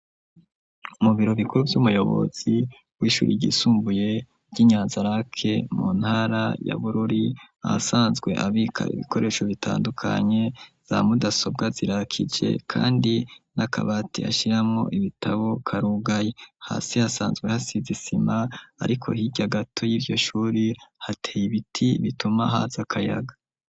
Mubiro bikuru vy'umuyobozi w'ishuri igisumbuye ry'inyanzarake mu ntara ya bururi a sanzwe abika ibikoresho bitandukanye za mudasobwa zirakije, kandi n'akabati hashiramo ibitabo karugayi hasi hasanzwe hasizisima, ariko hirya gato iryo shuri hateye ibiti bituma hazi akayaga.